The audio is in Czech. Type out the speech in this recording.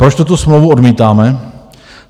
Proč tuto smlouvu odmítáme?